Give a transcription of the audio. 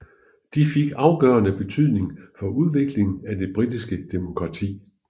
De fik afgørende betydning for udviklingen af det britiske demokrati